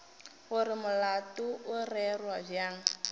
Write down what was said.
gore molato o rerwa bjang